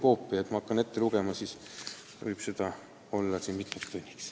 Kui ma hakkan neid siin ette lugema, võib selleks minna mitu tundi.